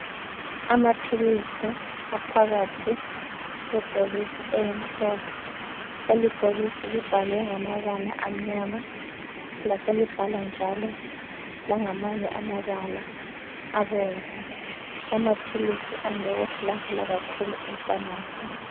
Amaphilisi aphakathi kwebhokisi elimhlophe. Leli bhokisi libhalwe ngamabala amnyama. Laselibhalwa njalo langamanye amabala abomvu. Lamaphilisi andukutholakala kakhulu ephamarcy.